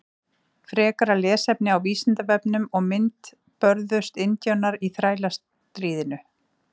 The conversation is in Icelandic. Frekara lesefni á Vísindavefnum og mynd Börðust indjánar í Þrælastríðinu?